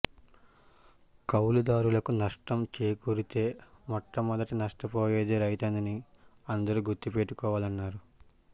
కౌలుదారులకు నష్టం చేకూరితే మొట్ట మొదట నష్టపోయేది రైతేనని అందరు గుర్తుపెట్టుకోవాలన్నారు